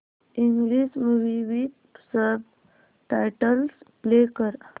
English movie with subtitles play कर